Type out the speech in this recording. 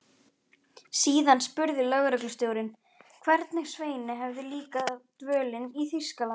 Síðan spurði lögreglustjórinn, hvernig Sveini hefði líkað dvölin í Þýskalandi.